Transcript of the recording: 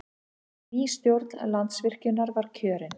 Ný stjórn Landsvirkjunar kjörin